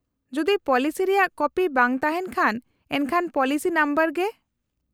-ᱡᱩᱫᱤ ᱯᱚᱞᱤᱥᱤ ᱨᱮᱭᱟᱜ ᱠᱚᱯᱤ ᱵᱟᱝ ᱛᱟᱦᱮᱱ ᱠᱷᱟᱱ ᱮᱱᱠᱷᱟᱱ ᱯᱚᱞᱤᱥᱤ ᱱᱚᱢᱵᱚᱨ ᱜᱮ ᱾